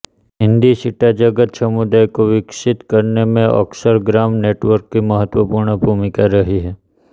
हिन्दी चिट्ठाजगत समुदाय को विकसित करने में अक्षरग्राम नेटवर्क की महत्वपूर्ण भूमिका रही